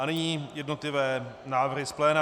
A nyní jednotlivé návrhy z pléna.